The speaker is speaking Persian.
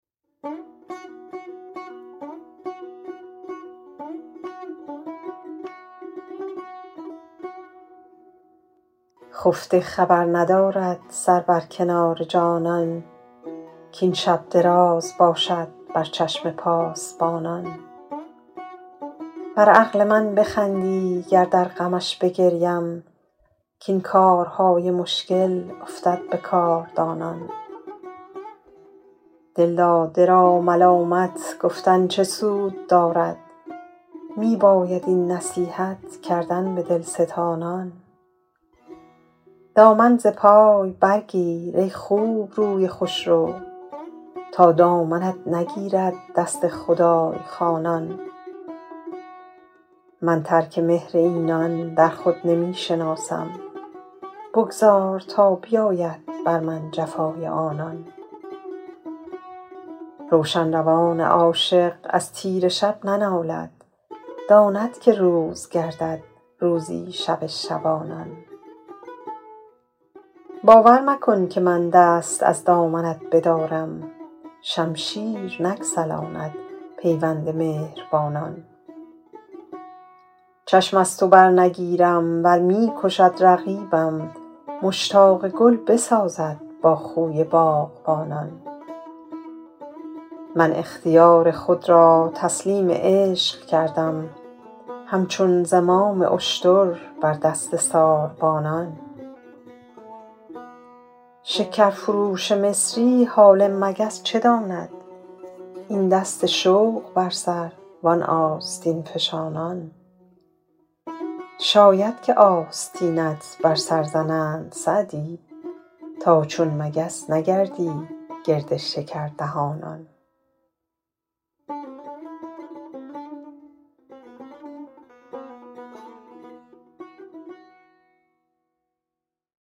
خفته خبر ندارد سر بر کنار جانان کاین شب دراز باشد بر چشم پاسبانان بر عقل من بخندی گر در غمش بگریم کاین کارهای مشکل افتد به کاردانان دلداده را ملامت گفتن چه سود دارد می باید این نصیحت کردن به دلستانان دامن ز پای برگیر ای خوبروی خوشرو تا دامنت نگیرد دست خدای خوانان من ترک مهر اینان در خود نمی شناسم بگذار تا بیاید بر من جفای آنان روشن روان عاشق از تیره شب ننالد داند که روز گردد روزی شب شبانان باور مکن که من دست از دامنت بدارم شمشیر نگسلاند پیوند مهربانان چشم از تو برنگیرم ور می کشد رقیبم مشتاق گل بسازد با خوی باغبانان من اختیار خود را تسلیم عشق کردم همچون زمام اشتر بر دست ساربانان شکرفروش مصری حال مگس چه داند این دست شوق بر سر وان آستین فشانان شاید که آستینت بر سر زنند سعدی تا چون مگس نگردی گرد شکردهانان